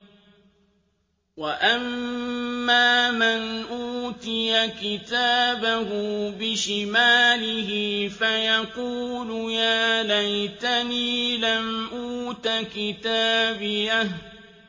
وَأَمَّا مَنْ أُوتِيَ كِتَابَهُ بِشِمَالِهِ فَيَقُولُ يَا لَيْتَنِي لَمْ أُوتَ كِتَابِيَهْ